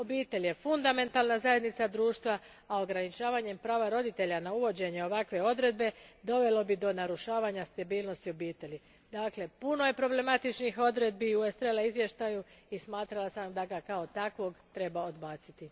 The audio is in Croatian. Obitelj je fundamentalna zajednica društva, a ograničavanjem prava roditelja na uvođenje ovakve odredbe dovelo bi do narušavanja stabilnosti obitelji. Dakle, puno je problematičnih odredbi u Estrela izvješću i smatrala sam da ga kao takvo treba odbaciti.